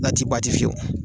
N'a ti fiyewu.